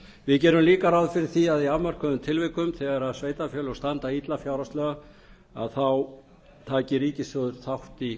við gerum líka ráð fyrir því að í afmörkuðum tilvikum þegar sveitarfélög standa illa fjárhagslega að þá taki ríkissjóður þátt í